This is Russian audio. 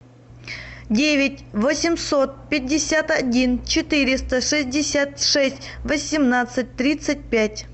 девять восемьсот пятьдесят один четыреста шестьдесят шесть восемнадцать тридцать пять